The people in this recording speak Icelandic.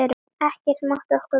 Ekkert mátti okkur vanta.